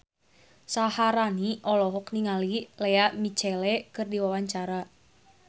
Syaharani olohok ningali Lea Michele keur diwawancara